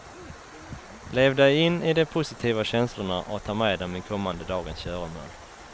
Lev dig in i de positiva känslorna och ta med dem i kommande dagens göromål.